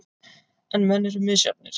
En menn eru misjafnir.